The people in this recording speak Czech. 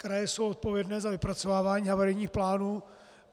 Kraje jsou odpovědné za vypracovávání havarijních plánů.